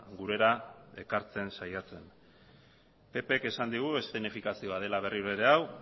gurera ekartzen saiatzen ppk esan digu eszenifikazioa dela berriro ere hau